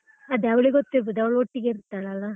ಅದೆ ಅವಳಿಗೆ ಗೊತ್ತಿರ್ಬಹುದು ಅವಳು ಒಟ್ಟಿಗೆ ಇರ್ತಾಳಲ್ಲಾ.